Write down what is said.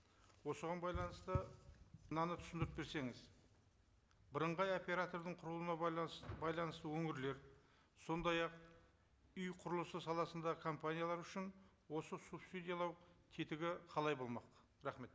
осыған байланысты мынаны түсіндіріп берсеңіз бірыңғай оператордың құрылуына байланысты өңірлер сондай ақ үй құрылысы саласындағы компаниялар үшін осы субсидиялау тетігі қалай болмақ рахмет